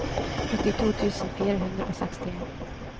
åttito tusen fire hundre og sekstien